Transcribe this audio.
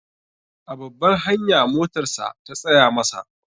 A babbar hanya motarsa ta tsaya masa.